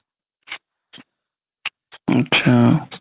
আতচা